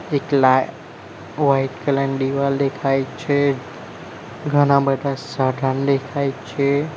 એક લાઇ white colour ની દીવાલ દેખાય છે ઘણા બઢા સાઢન દેખાય છે.